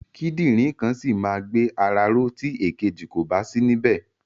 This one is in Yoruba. Kídìrìn kan ṣì ma gbé ara ró tí ìkejì kòbá sí ní bẹ̀.